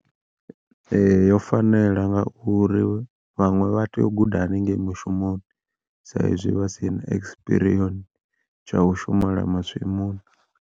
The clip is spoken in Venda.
Ee yo fanela ngauri vhaṅwe vha tea u guda haningeyi mushumoni sa izwi vhasina expiriyoni tsha u shumela masimuni.